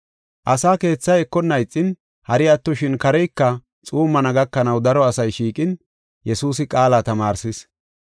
Asaa keethay ekonna ixin, hari attoshin kareyka xuummana gakanaw daro asay shiiqin, Yesuusi qaala tamaarsis.